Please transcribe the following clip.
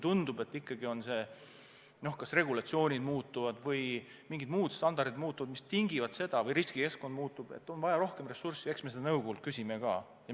Aga kui kas regulatsioonid muutuvad või mingid standardid muutuvad või riskikeskkond muutub ja tundub, et on vaja rohkem ressurssi, siis eks me seda nõukogult küsime ka.